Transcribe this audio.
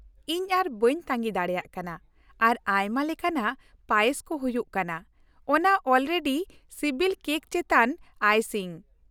ᱤᱧ ᱟᱨ ᱵᱟᱹᱧ ᱛᱟᱺᱜᱤ ᱫᱟᱲᱮᱭᱟᱜ ᱠᱟᱱᱟ, ᱟᱨ ᱟᱭᱢᱟ ᱞᱮᱠᱟᱱᱟᱜ ᱯᱟᱭᱮᱥ ᱠᱚ ᱦᱩᱭᱩᱜ ᱠᱟᱱᱟ ᱚᱱᱶᱟ ᱚᱞᱨᱮᱰᱤ ᱥᱤᱵᱤᱞ ᱠᱮᱠ ᱪᱮᱛᱟᱱ ᱟᱭᱥᱤᱝ ᱾